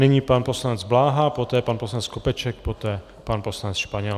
Nyní pan poslanec Bláha, poté pan poslanec Skopeček, poté pan poslanec Španěl.